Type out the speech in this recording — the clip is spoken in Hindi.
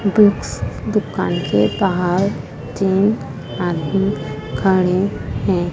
बुक्स दुकान के बाहर तीन आदमी खड़े हैं।